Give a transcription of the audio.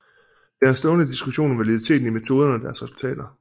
Der er en stående diskussion om validiteten i metoderne og deres resultater